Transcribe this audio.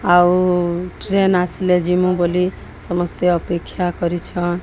ଆଉ ଟ୍ରେନ୍ ଆସିଲେ ଯିମୁ ବୋଲି ସମସ୍ତେ ଅପେକ୍ଷା କରିଛନ୍।